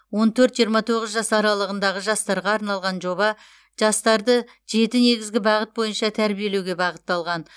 он төрт жиырма тоғыз жас аралығындағы жастарға арналған жоба жастарды жеті негізгі бағыт бойынша тәрбиелеуге бағытталған